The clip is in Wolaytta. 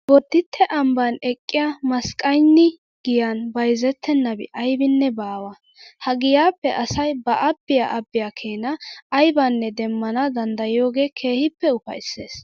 Bodditte ambban eqqiya masqqaynni giyan bayzettennabi aybinne baawa. Ha giyaappe asay ba abbiya abbiya keena aybanne demmana danddayiyogee keehippe ufayssees.